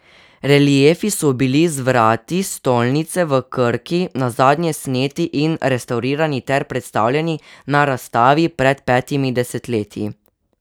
Reliefi so bili z vrat stolnice v Krki nazadnje sneti in restavrirani ter predstavljeni na razstavi pred petimi desetletji.